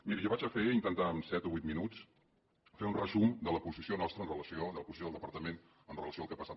miri jo faré intentaré en set o vuit minuts fer un resum de la posició nostra de la posició del departament amb relació al que ha passat